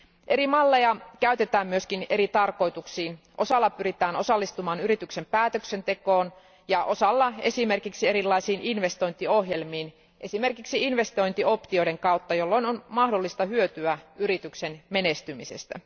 Eri malleja käytetään myös eri tarkoituksiin osalla pyritään osallistumaan yrityksen päätöksentekoon ja osalla esimerkiksi erilaisiin investointiohjelmiin, esimerkiksi investointioptioiden kautta, jolloin on mahdollista hyötyä yrityksen menestymisestä.